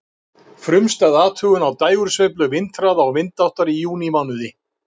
Frumstæð athugun á dægursveiflu vindhraða og vindáttar í júnímánuði.